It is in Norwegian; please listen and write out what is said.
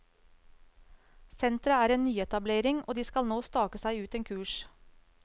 Senteret er en nyetablering, og de skal nå stake seg ut en kurs.